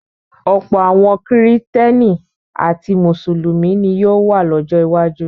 Ọ̀pọ̀ àwọn Kìrìtẹ́ẹ́nì àti Mùsùlùmí ni yóò wà lọ́jọ́ iwájú.